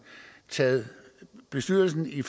taget bestyrelsen i